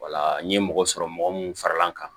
n ye mɔgɔ sɔrɔ mɔgɔ mun faral'an kan